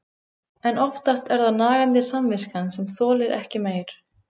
En oftast er það nagandi samviskan sem þolir ekki meir.